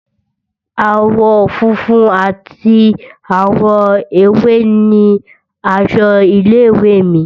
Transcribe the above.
Àwọ̀ funfun ati àwọ̀ ewé ni aṣọ ilé ìwé è mi